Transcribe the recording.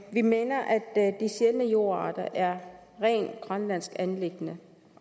vi mener at de sjældne jordarter er et rent grønlandsk anliggende